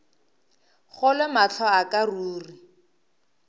kgolwe mahlo a ka ruri